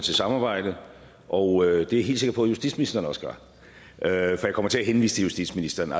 til samarbejdet og det er jeg helt sikker på justitsministeren også gør for jeg kommer til at henvise til justitsministeren